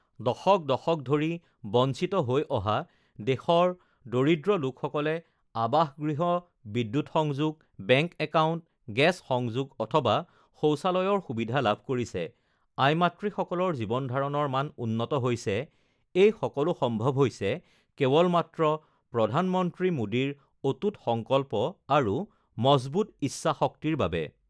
দশক দশক ধৰি বঞ্চিত হৈ অহা দেশৰ দৰিদ্ৰ লোকসকলে আৱাসগৃহ, বিদ্যুৎ সংযোগ, বেংক একাউণ্ট, গেছ সংযোগ অথবা শৌচালয়ৰ সুবিধা লাভ কৰিছে, আই মাতৃসকলৰ জীৱনধাৰণৰ মান উন্নত হৈছে, এই সকলো সম্ভৱ হৈছে কেৱল মাত্ৰ প্ৰধানমন্ত্ৰী মোদীৰ অটুট সংকল্প আৰু মজবুত ইচ্ছাশক্তিৰ বাবে